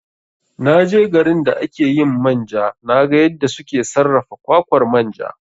Na je garin da ake yin manja na ga yadda suke sarrafa kwakwar manja